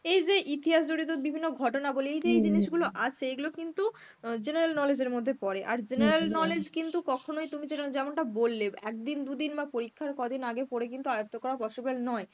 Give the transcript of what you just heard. এই যে ইতিহাস জড়িত বিভিন্ন ঘটনাবলী এই যে এই জিনিসগুলো আছে এইগুলো কিন্তু অ্যাঁ general knowledge এর মধ্য পরে. আর general knowledge কিন্তু কখনোই তুমি যেরম যেমনটা বললে একদিন দুদিন বা পরীক্ষার কদিন আগে পরে কিন্তু আয়ত্ব করা possible নয়.